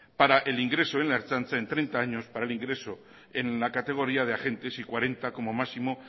para el ingreso en la ertzaintza en treinta años para el ingreso en la categoría de agentes y cuarenta como máximo